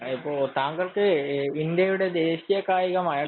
അതിപ്പോ താങ്കള്‍ക്ക് ഇന്ത്യയുടെ ദേശിയ കായികമായ